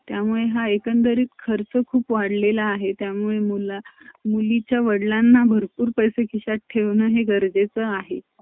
कारण की आता खूप खूप अं स्पर्धे सु